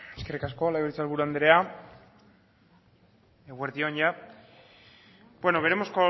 eskerrik asko legebiltzar buru anderea eguerdi on veremos